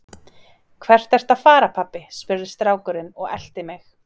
Hvert ertu að fara pabbi? spurði strákurinn og elti mig.